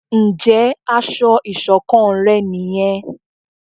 Njé aṣọ iṣọ̀kan rẹ ní yén?